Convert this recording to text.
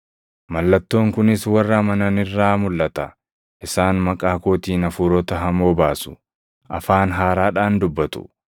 Mallattoon kunis warra amanan irraa mulʼata; isaan maqaa kootiin hafuurota hamoo baasu; afaan haaraadhaan dubbatu;